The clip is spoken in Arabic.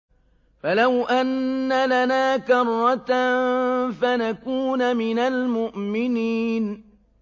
فَلَوْ أَنَّ لَنَا كَرَّةً فَنَكُونَ مِنَ الْمُؤْمِنِينَ